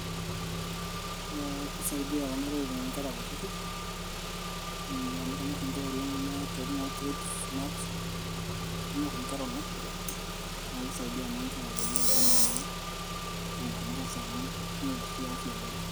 ee kisaidia kuna tokitin inkera kutitik amu kenyorr inkera oleng kuna tokitin oo crips, snacks kenyorr inkera oleng naa kisaidia naa inkera peyie eku naa ki changamka esaa muj neret sii afya enye.